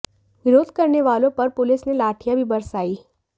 विरोध करने वालों पर पुलिस ने लाठियां भी बरसाईं